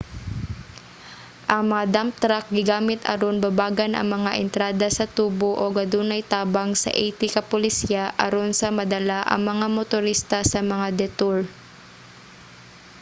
ang mga dump truck gigamit aron babagan ang mga entrada sa tubo ug adunay tabang sa 80 ka pulisya aron sa madala ang mga motorista sa mga detour